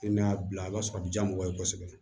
I n'a bila i b'a sɔrɔ a bɛ diya mɔgɔw ye kosɛbɛ